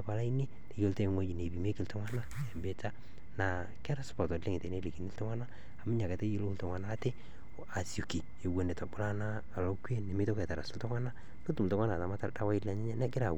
ewoi naipimiki ltunganak amu nakata eyiolou ltunganak ate netum oltungani ataramata ltunganak lenye.